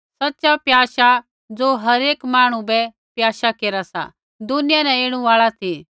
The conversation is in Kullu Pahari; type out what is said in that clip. सच़ा प्याशा ज़ो हर एक मांहणु बै प्याशा केरा सा दुनिया न ऐणु आल़ा ती